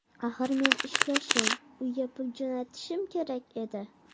Axir men ishlashim, uyga pul jo‘natishim kerak edi.